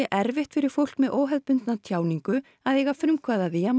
erfitt fyrir fólk með óhefðbundna tjáningu að eiga frumkvæði að því að